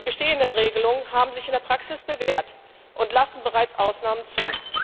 Die bestehenden Regelungen haben sich in der Praxis bewährt und lassen bereits Ausnahmen zu.